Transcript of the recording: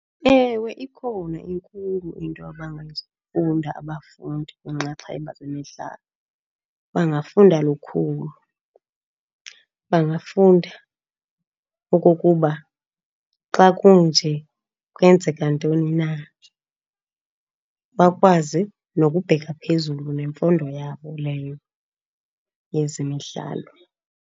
Ewe, ikhona inkulu into abangayifunda abafundi kwiinxaxheba zemidlalo, bangafunda lukhulu. Bangafunda okokuba xa kunje kwenzeka ntoni na, bakwazi nokubheka phezulu nemfundo yabo leyo yezemidlalo.